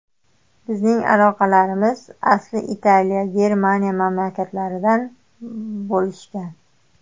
Bizning ajdodlarimiz asli Italiya, Germaniya mamlakatlaridan bo‘lishgan.